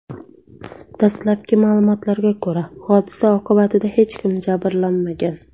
Dastlabki ma’lumotlarga ko‘ra, hodisa oqibatida hech kim jabrlanmagan.